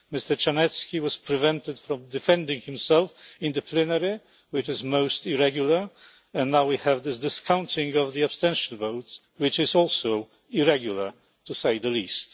Mr Czarnecki was prevented from defending himself in the plenary, which is most irregular, and now we have this discounting of abstentions, which is also irregular, to say the least.